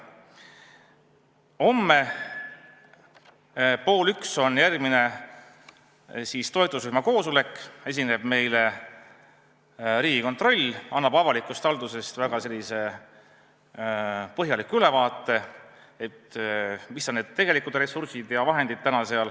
Homme on järgmine toetusrühma koosolek, meile esineb Riigikontrolli esindaja ja annab avalikust haldusest väga põhjaliku ülevaate, mis on tegelikud ressursid ja vahendid.